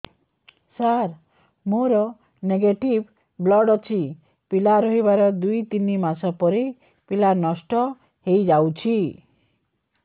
ସାର ମୋର negative blood ଅଛି ପିଲା ରହିବାର ଦୁଇ ତିନି ମାସ ପରେ ପିଲା ନଷ୍ଟ ହେଇ ଯାଉଛି